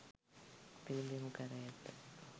පිළිබිඹු කර ඇත.